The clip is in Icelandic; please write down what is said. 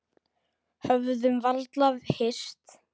Höfðum varla hist.